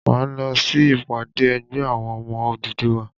Máa lọ sí ìpàdé ẹgbẹ́ àwọn ọmọ Odùduwà.